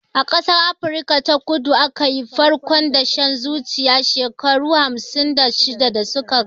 A ƙasar Afrika ta kudu aka yi farkon dashen zuciya shekaru hamsin da shida da suka gabata